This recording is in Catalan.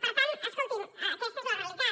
per tant escolti’m aquesta és la realitat